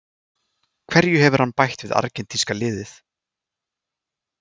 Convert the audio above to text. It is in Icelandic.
Hverju hefur hann bætt við argentínska liðið?